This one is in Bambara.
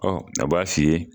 Ɔ a b'a f'i ye